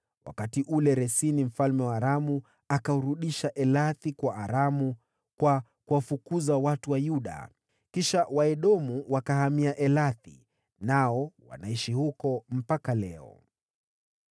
Wakati ule, Resini mfalme wa Aramu akaurudisha Elathi kwa Aramu kwa kuwafukuza watu wa Yuda. Kisha Waedomu wakahamia Elathi, nao wanaishi huko mpaka leo.